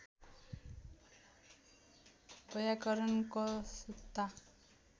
वैयाकरण कस्ता